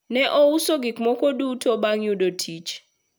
ne ouso gikmoko duto bang yudo tich